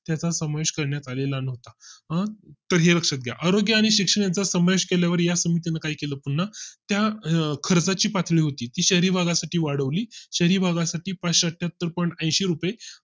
त्या समावेश करण्यात आले ला नव्हता आह तर हे लक्षात घ्या आरोग्य आणि शिक्षणाचा समावेश केल्या मुळे पुन्हा त्या खर्चाची पातळी होती शहरी भागा साठी वाढवली शहरी भागा साठी पाचशे अठ्ठ्यात्तर Point ऐंशी रुपये